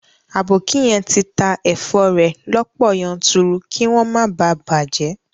Aboki yen ti ta èfo rẹ̀ lọ́pọ̀ yanturu kí wọ́n má bàa bàjẹ́